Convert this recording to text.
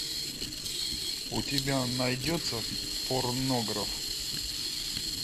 у тебя найдется порнограф